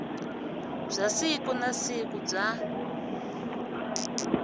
bya siku na siku bya